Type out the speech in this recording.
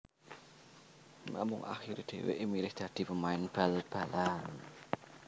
Namung akhirè dhèwèkè milih dadi pemain bal balan